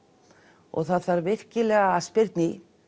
og það þarf virkilega að spyrna í